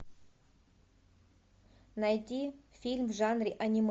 найти фильм в жанре аниме